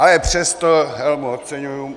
Ale přesto helmu oceňuji.